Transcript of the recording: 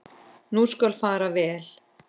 Nú skal fara vel.